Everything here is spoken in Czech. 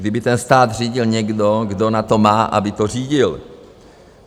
Kdyby ten stát řídil někdo, kdo na to má, aby to řídil.